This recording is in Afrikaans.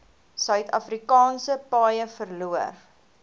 suidafrikaanse paaie verloor